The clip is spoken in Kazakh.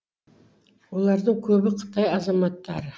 олардың көбі қытай азаматтары